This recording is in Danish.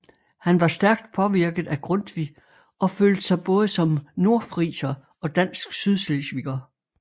Han var stærkt påvirket af Grundtvig og følte sig både som nordfriser og dansk sydslesviger